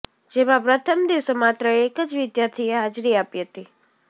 જેમાં પ્રથમ દિવસે માત્ર એક જ વિદ્યાર્થીએ હાજરી આપી હતી